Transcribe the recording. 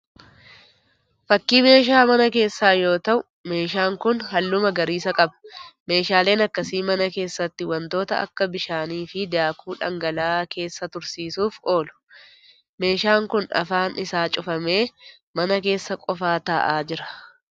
Fakkii meeshaa mana keessaa yoo ta'u, meeshaan kun halluu magariisa qaba. Meeshaaleen akkasii mana keessatti wantoota akka bishaanii fi daakuu dhangala'aa keessa tursiisuuf oolu. Meeshaan kun afaan isaa cufamee mana keessa qofaa taa'aa jira.